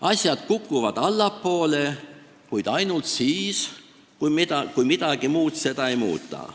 Asjad kukuvad allapoole, kuid ainult siis, kui midagi muud seda ei muuda.